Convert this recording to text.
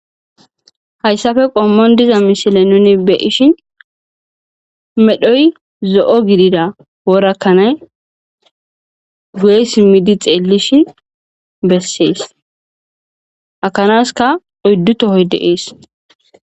hayssafe qommoon diza mishile nuni be'ishi medhoy zo'o gidida wora kanay guye simidi xeellish bessees ha kanaska oyddu tohoy de'ees